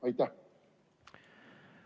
Aitäh!